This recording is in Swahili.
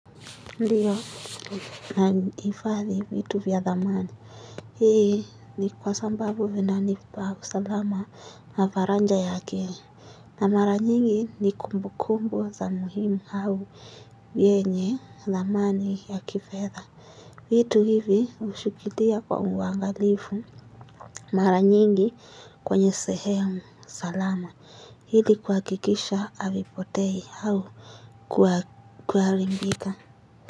Ndiyo nahifadhi vitu vya thamani hii ni kwa sababu vinanipa usalama na varanja yake na mara nyingi ni kumbukumbu za muhimu au vyenye thamani ya kifedha vitu hivi hushikilia kwa uangalifu mara nyingi kwenye sehemu salama ili kuhakikisha havipotei au kuwa kuharimbika.